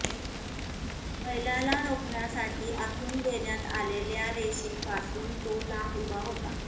बैलाला रोखण्यासाठी आखून देण्यात आलेल्या रेषेपासून तो लांब उभा होता